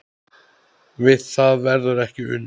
Við það verður ekki unað.